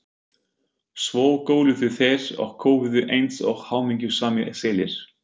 Svo góluðu þeir og köfuðu eins og hamingjusamir selir.